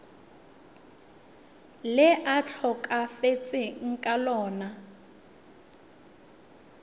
le a tlhokafetseng ka lona